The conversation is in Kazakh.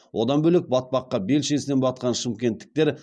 одан бөлек батпаққа белшесінен батқан шымкенттіктер